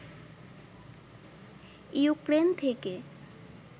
Ukraine থেকে